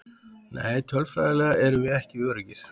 Nei tölfræðilega erum við ekki öruggir.